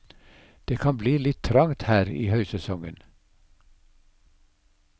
Det kan bli litt trangt her i høysesongen.